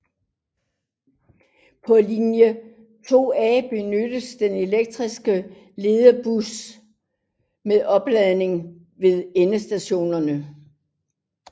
På linje 2A benyttes der elektriske ledbusser med opladning ved endestationerne